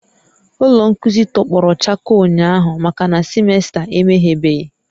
Ụlọ nkuzi tọgbọrọ chakoo ụnyahụ makana semester emeghebeghị